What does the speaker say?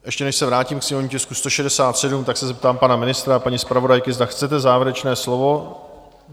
Ještě než se vrátím ke sněmovnímu tisku 167, tak se zeptám pana ministra a paní zpravodajky, zda chcete závěrečné slovo?